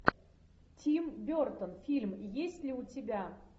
тим бертон фильм есть ли у тебя